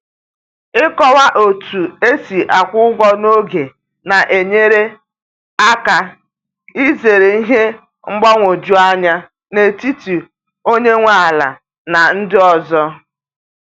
Ịkọwa otu esi akwụ ụgwọ n'oge na-enyere aka izere ihe mgbagwoju anya n’etiti onye nwe ala na ndị ọzọ